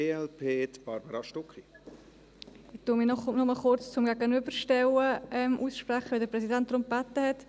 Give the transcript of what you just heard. Ich spreche mich noch kurz zum Gegenüberstellen aus, weil der Präsident darum gebeten hat.